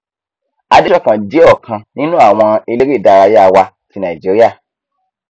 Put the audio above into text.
adesokan jẹ ọkan nínú àwọn eléré ìdárayá wa tí nàìjíríà